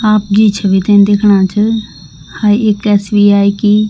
आप जीं छवि ते दिखणा च हाँ एक एस.बी.आई. की --